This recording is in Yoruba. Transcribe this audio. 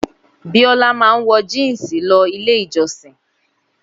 Bíólá máa ń wọ jínsì lọ ilé ìjọ́sìn.